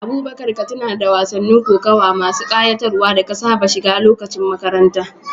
Abubakar, ka tuna da wasannin kokawa masu ƙayatarwa da ka saba shiga lokacin makaranta.